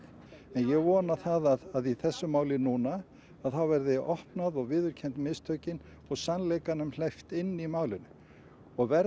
en ég vona það að í þessu máli núna þá verði opnað og viðurkennd mistökin og sannleikanum hleypt inn í málinu og verði